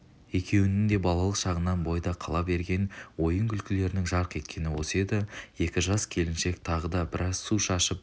екеуінің де балалық шағынан бойда қала берген ойын-күлкілерінің жарқ еткені осы еді екі жас келіншек тағы да біраз су шашып